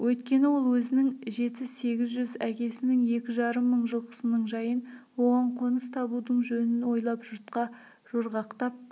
өйткені ол өзінің жеті-сегіз жүз әкесінің екі жарым мың жылқысының жайын оған қоныс табудың жөнін ойлап жұртқа жорғақтап